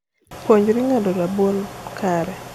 puonjri ngado rabuon kare